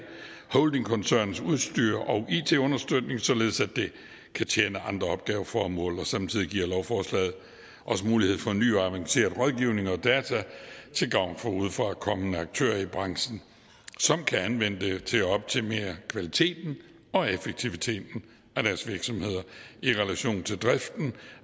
holdingkoncernens udstyr og it understøtning således at det kan tjene andre opgaveformål og samtidig giver lovforslaget os mulighed for en ny og avanceret rådgivning og data til gavn for udefrakommende aktører i branchen som kan anvende det til at optimere kvaliteten og effektiviteten af deres virksomheder i relation til driften